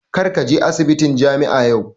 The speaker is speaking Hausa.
Kar ka je asibitin jami'a yau!